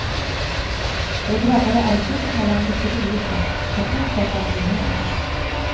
De drabbade är sinsemellan mycket olika men en sak har de gemensamt.